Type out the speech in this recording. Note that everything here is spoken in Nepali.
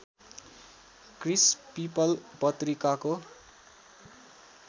क्रिस् पिपल पत्रिकाको